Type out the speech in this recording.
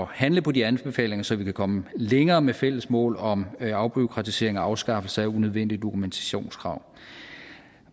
handle på de anbefalinger så vi kan komme længere med fælles mål om afbureaukratisering og afskaffelse af unødvendige dokumentationskrav